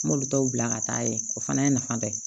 N m'olu taw bila ka taa yen o fana ye nafa dɔ ye